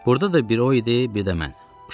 Burada da biri o idi, bir də mən.